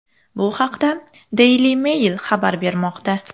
Bu haqda Daily Mail xabar bermoqda .